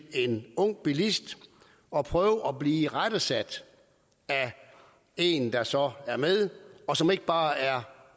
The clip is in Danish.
en ung bilist at prøve at blive irettesat af en der så er med og som ikke bare er